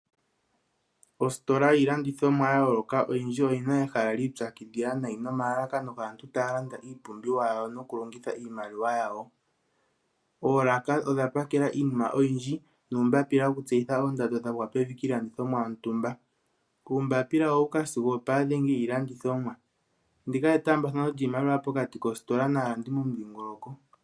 Ositola yiilandithomwa oyindji yaloka oyina ehala lyiitsakidhila nayi nomalalakano gaantu taya landa iipumbiwa nokulongitha iimaliwa yawo. Oolaka odhapakela iinima oyindji nuumbapapila yokuulika oondamdo dhiilandithomwa dhagwa pevi . Uumbapila owuuka sigo opaadhengi yiilandithomwa . Ndika etaambathano lyiimaliwa pokati kositola naantu momudhingoloko.